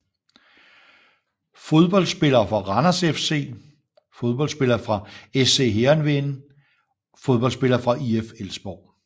Fodboldspillere fra Randers FC Fodboldspillere fra SC Heerenveen Fodboldspillere fra IF Elfsborg